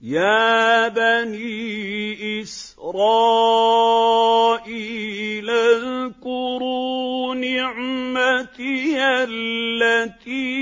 يَا بَنِي إِسْرَائِيلَ اذْكُرُوا نِعْمَتِيَ الَّتِي